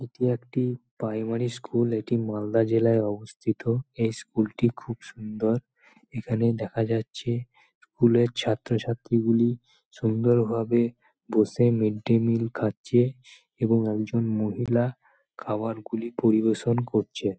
এটি একটি primary school এটি মালদা জেলায় অবস্থিত। এই স্কুল -টি খুব সুন্দর। এখানে দেখা যাচ্ছে স্কুল এর ছাত্রছাত্রী গুলি সুন্দর ভাবে বসে মিড্ ডে মিল খাচ্ছে এবং একজন মহিলা খাবারগুলি পরিবেশন করছে।